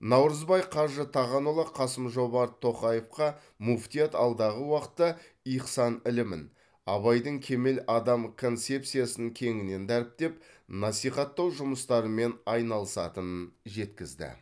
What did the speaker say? наурызбай қажы тағанұлы қасым жомарт тоқаевқа мүфтият алдағы уақытта ихсан ілімін абайдың кемел адам концепциясын кеңінен дәріптеп насихаттау жұмыстарымен айналысатынын жеткізді